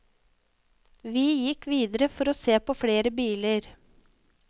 Vi gikk videre for å se på flere biler.